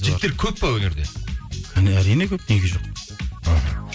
жігіттер көп пе өнерде әрине көп неге жоқ іхі